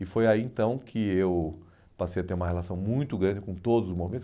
E foi aí, então, que eu passei a ter uma relação muito grande com todos os movimentos.